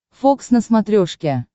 фокс на смотрешке